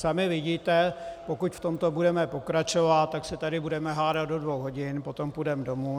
Sami vidíte, pokud v tomto budeme pokračovat, tak se tady budeme hádat do dvou hodin, potom půjdeme domů.